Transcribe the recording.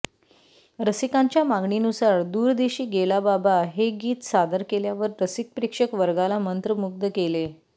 रसिकांच्या मागणीनुसार दूर देशी गेला बाबा हे गीत सादर केल्यावर रसिक प्रेक्षक वर्गाला मंत्रमुग्ध केले